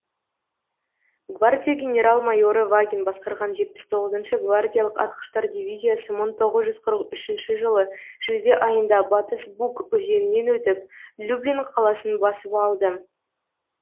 гвардия генерал майоры вагин басқарған жетпіс тоғызыншы гвардиялық атқыштар дивизиясы мың тоғыз жүз қырық үшінші жылы шілде айында батыс буг өзенінен өтіп люблин қаласын басып алды